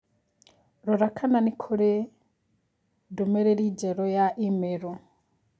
Rora kana nĩ kũrĩ kũrĩ ndũmĩrĩri njerũ ya i-mīrū.